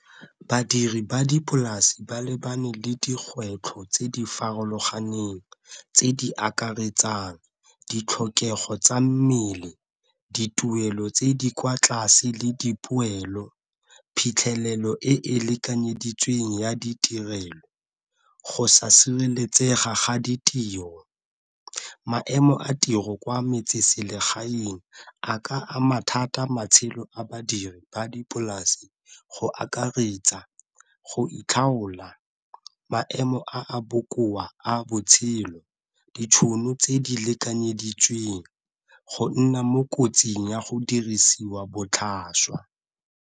Badiri ba dipolase ba lebane le dikgwetlho tse di farologaneng tse di akaretsang ditlhokego tsa mmele, dituelo tse di kwa tlase le dipoelo, phitlhelelo e e lekanyeditsweng ya ditirelo, go sa sireletsega ga ditiro. Maemo a tiro kwa metseselegaeng a ka ama thata matshelo a badiri ba dipolase go akaretsa go itlhaola, maemo a a bokoa a botshelo, ditšhono tse di lekanyeditsweng go nna mo kotsing ya go dirisiwa botlhaswa.